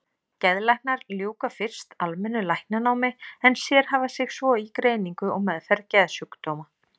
Geðlæknar ljúka fyrst almennu læknanámi en sérhæfa sig svo í greiningu og meðferð geðsjúkdóma.